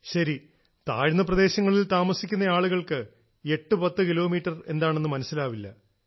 ശരി താഴ്ന്ന പ്രദേശങ്ങളിൽ താമസിക്കുന്ന ആളുകൾക്ക് 810 കിലോമീറ്റർ എന്താണെന്ന് മനസ്സിലാവില്ല